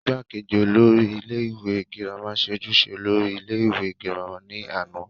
igbákejì olórí ilé ìwé girama ṣe ojúṣe olórí ilé ìwé girama ní àná